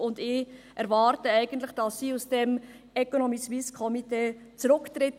Ich erwarte eigentlich, dass sie aus dem Economiesuisse-Komitee zurücktritt.